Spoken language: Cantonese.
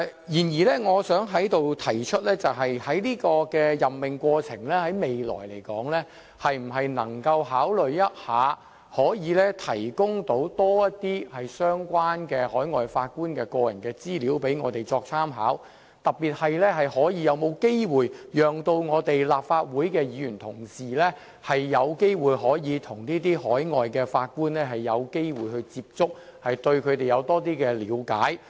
然而，我想在此提出，就未來的任命過程來說，可否考慮提供多些關於海外法官的個人資料供我們參考，特別是可否讓立法會議員有機會與這些海外法官接觸，以便對他們有多些了解？